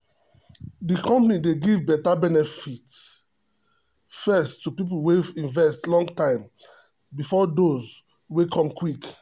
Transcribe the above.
the company dey give better benefits first to people wey invest long time before those wey come quick.